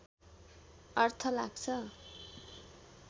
अर्थ लाग्छ